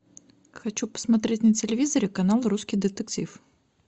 хочу посмотреть на телевизоре канал русский детектив